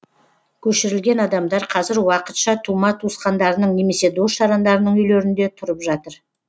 көшірілген адамдар қазір уақытша тума туысқандарының немесе дос жарандарының үйлерінде тұрып жатыр